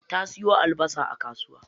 Ta siyo albasa a kasuwa.